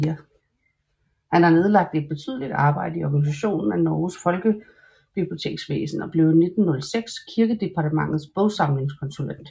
Han har nedlagt et betydeligt arbejde i organisationen af Norges folkebiblioteksvæsen og blev 1906 Kirkedepartementets bogsamlingskonsulent